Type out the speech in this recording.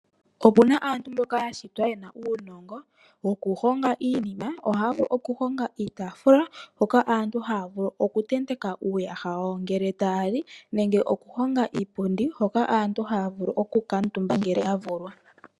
Opena aantu mboka ya shitwa yena uunongo, woku honga iinima. Ohaya vulu oku honga iitaafula, hoka aantu taya vulu oku tendeka uuyaha wa wo ngele taya li nenge oku honga iipundi hoka aantu haya vulu oku kuutumba ngele ya vulwa.